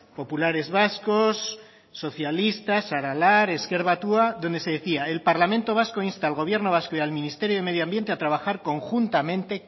populares vascos socialistas aralar ezker batua donde se decía el parlamento vasco insta al gobierno vasco y al ministerio de medio ambiente a trabajar conjuntamente